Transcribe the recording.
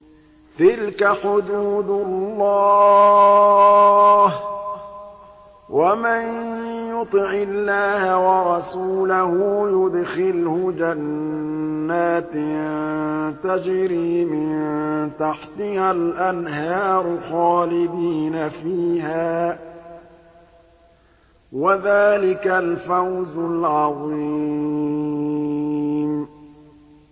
تِلْكَ حُدُودُ اللَّهِ ۚ وَمَن يُطِعِ اللَّهَ وَرَسُولَهُ يُدْخِلْهُ جَنَّاتٍ تَجْرِي مِن تَحْتِهَا الْأَنْهَارُ خَالِدِينَ فِيهَا ۚ وَذَٰلِكَ الْفَوْزُ الْعَظِيمُ